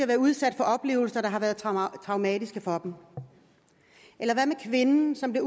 været udsat for oplevelser der har været traumatiske for dem eller hvad med kvinden som er